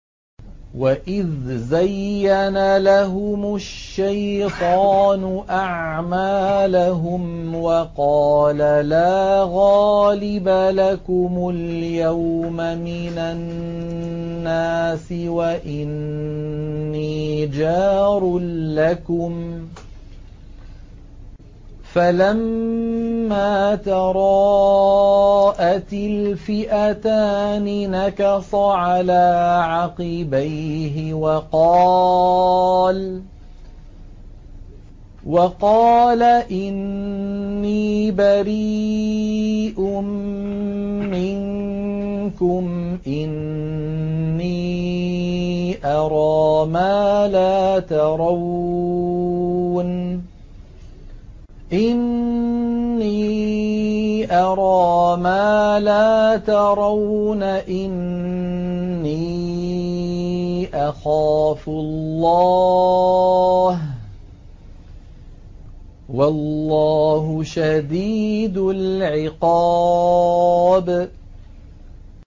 وَإِذْ زَيَّنَ لَهُمُ الشَّيْطَانُ أَعْمَالَهُمْ وَقَالَ لَا غَالِبَ لَكُمُ الْيَوْمَ مِنَ النَّاسِ وَإِنِّي جَارٌ لَّكُمْ ۖ فَلَمَّا تَرَاءَتِ الْفِئَتَانِ نَكَصَ عَلَىٰ عَقِبَيْهِ وَقَالَ إِنِّي بَرِيءٌ مِّنكُمْ إِنِّي أَرَىٰ مَا لَا تَرَوْنَ إِنِّي أَخَافُ اللَّهَ ۚ وَاللَّهُ شَدِيدُ الْعِقَابِ